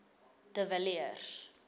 de villiers